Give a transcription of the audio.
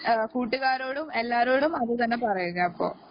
കൂട്ടുകാരോടും എല്ലാരോടും അതുതന്നെ പറയുക അപ്പൊ